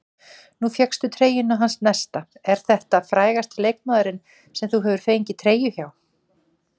Nú fékkstu treyjuna hans Nesta, er þetta frægasti leikmaðurinn sem þú hefur fengið treyju hjá?